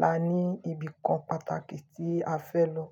la ní ibìkan pàtàkì tí a fẹ́ lọ.